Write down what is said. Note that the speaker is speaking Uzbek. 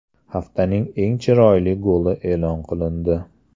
Haftaning eng chiroyli goli e’lon qilindi.